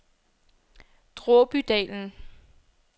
Dråbydalen